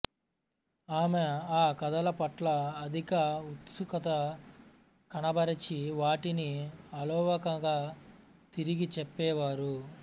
ఆమె ఆ కథల పట్ల అధిక ఉత్సుకత కనబరచి వాటిని అలవోకగా తిరిగి చెప్పేవారు